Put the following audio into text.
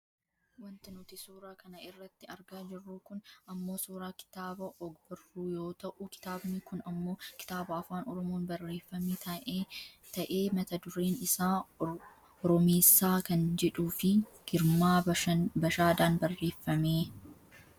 Wanti nuti suura kana irratti argaa jirru kun ammoo suuraa kitaaba og-barru yoo ta'u kitaabni kun ammoo kitaaba afaan oromoon barreeffame ta'ee mata dureen isaa "Oromeessaa" kan jedhuufi Girmaa Bashaadaan barreeffame.